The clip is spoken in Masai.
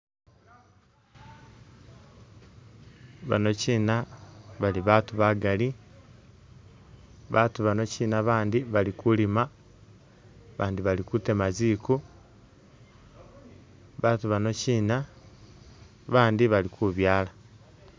Banokina bali batu bafali, batu banokina bandi bali kulima, bandi bali kutema ziku. Batu bano kina bandi bali kubyaala